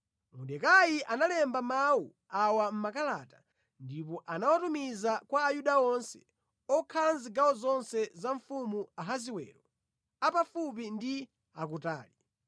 Mordekai analemba mawu awa mʼmakalata ndipo anawatumiza kwa Ayuda onse okhala mʼzigawo zonse za mfumu Ahasiwero, a pafupi ndi a kutali: